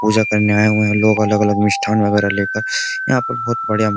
पूजा करने आए हुए हैं लोग अलग-अलग मिष्ठान वगैरह लेकर यहां पर बहुत बढ़िया --